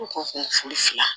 U ko ko furu fila